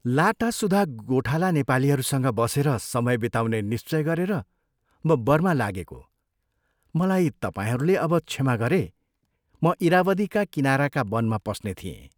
लाटासुधा गोठाला नेपालीहरूसँग बसेर समय बिताउने निश्चय गरेर म बर्मा लागेको मलाई तपाईंहरूले अब क्षमा गरे म इरावदीका किनाराका वनमा पस्ने थिएँ।